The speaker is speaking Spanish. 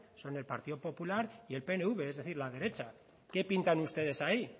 son el partido popular y el pnv es decir la derecha qué pintan ustedes ahí